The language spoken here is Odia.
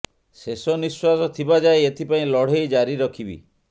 ଶେଷ ନିଶ୍ୱାସ ଥିବା ଯାଏ ଏଥିପାଇଁ ଲଢ଼େଇ ଜାରି ରଖିବି